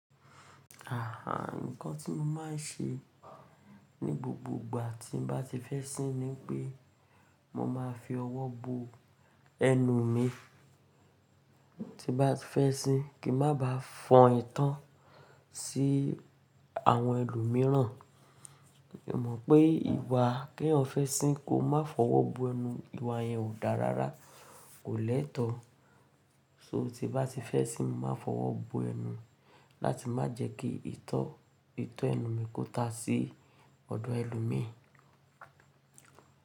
Nǹkan tí mo máa ń ṣe ní gbogbo gbà tí mo bá ti fẹ́ sín ni pé mo máa fi ọwọ́ bo ẹnu mi. Ti n ba fẹ́ sín kí má ba fọn ìto sí àwọn ẹlòmíràn. Mo mọ̀ pé ìwà k'eeyan fẹ́ sín ko má fọwọ́ bo ẹnu, ìwà yẹn ò dá rárá, kò lẹ́tọ. So tí n bá ti fẹ́ sín, máa fọwọ́ bo ẹnu láti má jẹ́ kí ìto ẹnu mi kó ta sí ọ̀dọ̀ ẹlòmíì.